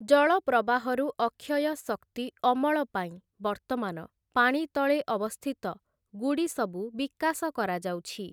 ଜଳ ପ୍ରବାହରୁ ଅକ୍ଷୟ ଶକ୍ତି ଅମଳ ପାଇଁ ବର୍ତ୍ତମାନ ପାଣି ତଳେ ଅବସ୍ଥିତ ଗୁଡ଼ି ସବୁ ବିକାଶ କରାଯାଉଛି ।